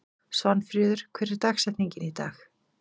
Svanfríður, hver er dagsetningin í dag?